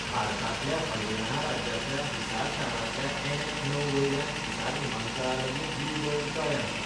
भारतांतल्या हरियाणा राज्यांतल्या हिसार शारांतल्या एनएच णव वयल्यान हिसार विमानतळा लागीं ब्लू बर्ड तळें आसा.